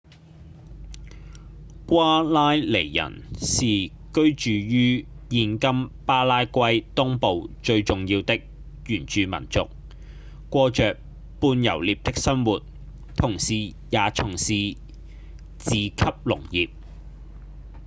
瓜拉尼人是居住於現今巴拉圭東部最重要的原住民族過著半游獵的生活同時也從事自給農業